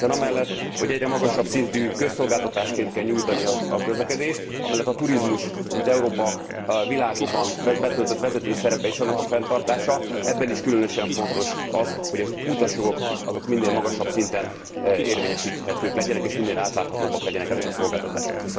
Hiszen amellett, hogy egyre magasabb szintű közszolgáltatásként kell nyújtani a közlekedést, amellett a turizmus, mint Európa a világban betöltött vezető szerepe, és annak a fenntartása ebben is különösen fontos az, hogy az utasjogok minél magasabb szinten érvényesíthetőek legyenek, és minél átláthatóbbak legyenek ezek a szolgáltatások.